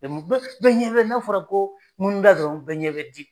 bɛɛ ɲɛ bɛ n'a fɔra ko ŋunuda dɔrɔn bɛɛ ɲɛ bɛ di